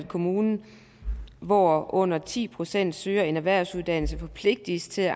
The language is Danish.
kommuner hvor under ti procent søger en erhvervsuddannelse forpligtes til